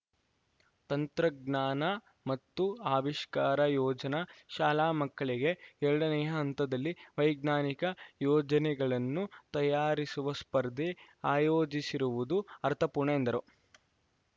ತಂತ್ರಜ್ಞಾನ ಮತ್ತು ಆವಿಷ್ಕಾರ ಯೋಜನಾ ಶಾಲಾಮಕ್ಕಳಿಗೆ ಎರಡನೆಯ ಹಂತದಲ್ಲಿ ವೈಜ್ಞಾನಿಕ ಯೋಜನೆಗಳನ್ನು ತಯಾರಿಸುವ ಸ್ಪರ್ಧೆ ಆಯೋಜಿಸಿರುವುದು ಅರ್ಥಪೂರ್ಣ ಎಂದರು